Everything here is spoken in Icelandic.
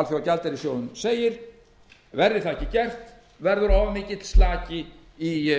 alþjóðagjaldeyrissjóðurinn segir verði það ekki gert verður of mikill slaki í